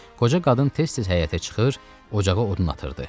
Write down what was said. Qoca qadın tez-tez həyətə çıxır, ocağa odun atırdı.